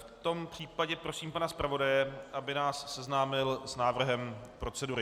V tom případě prosím pana zpravodaje, aby nás seznámil s návrhem procedury.